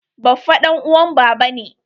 Baffa ɗan uwan baba ne.